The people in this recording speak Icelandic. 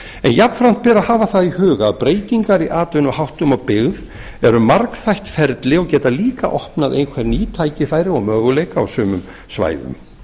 jafnframt ber að hafa það í huga að breytingar í atvinnuháttum og byggð eru margþætt ferli og geta líka opnað einhverjum ný tækifæri og möguleika á sumum svæðum